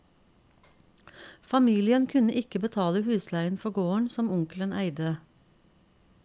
Familien kunne ikke betale husleien for gården som onkelen eide.